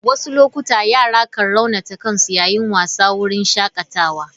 Wasu lokuta yara kan raunata kansu yayin wasa a wurin shakatawa.